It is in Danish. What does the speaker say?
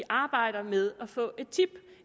arbejder med at få et tip og